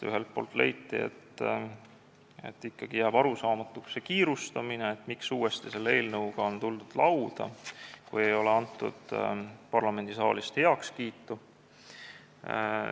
Ühelt poolt leiti, et ikkagi jääb arusaamatuks see kiirustamine, miks uuesti selle eelnõuga on tuldud, kui parlamendisaalist ei ole sellele heakskiitu antud.